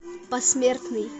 посмертный